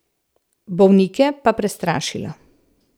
Bolnike pa prestrašila.